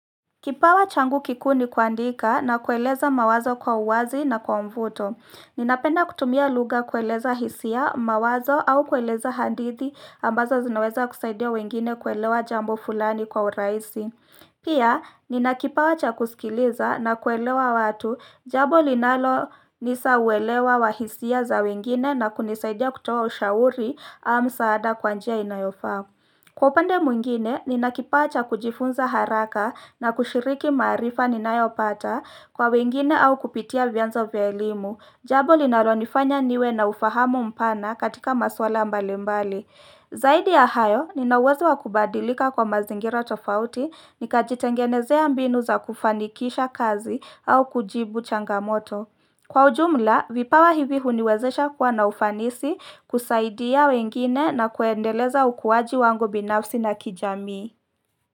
Kipawa changu kikuu ni kuandika na kueleza mawazo kwa uwazi na kwa mvuto. Ninapenda kutumia lugha kueleza hisia, mawazo au kueleza hadithi ambazo zinaweza kusaidia wengine kuelewa jambo fulani kwa urahisi. Pia, nina kipawa cha kusikiliza na kuelewa watu jambo linalo nisa uelewa wa hisia za wengine na kunisaidia kutoa ushauri au msaada kwa njia inayofaa. Kwa upande mwingine, ninakipawa cha kujifunza haraka na kushiriki maarifa ninayo pata kwa wengine au kupitia vyanzo vya elimu, jambo linalonifanya niwe na ufahamu mpana katika maswala mbali mbali. Zaidi ya hayo, nina uwezo wa kubadilika kwa mazingira tofauti, nikajitengenezea mbinu za kufanikisha kazi au kujibu changamoto. Kwa ujumla, vipawa hivi huniwezesha kuwa na ufanisi kusaidia wengine na kuendeleza ukuwaji wangu binafsi na kijamii.